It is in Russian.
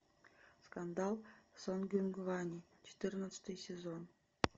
скандал сонгюнгване четырнадцатый сезон